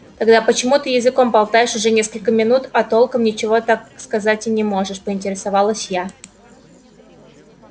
тогда почему ты языком болтаешь уже несколько минут а толком ничего сказать так и не можешь поинтересовалась я